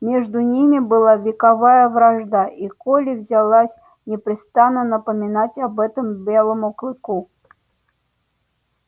между ними была вековая вражда и колли взялась непрестанно напоминать об этом белому клыку